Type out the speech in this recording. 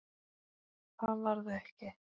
Það varð ekki.